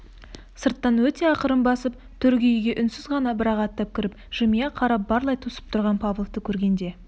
сырттан өте ақырын басып төргі үйге үнсіз ғана бір-ақ аттап кіріп жымия қарап барлай тосып тұрған павловты көргенде